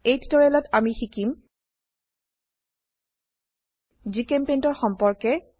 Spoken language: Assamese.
এই টিউটোৰিয়েলত আমি শিকিম GChemPaintৰ সম্পৰ্কে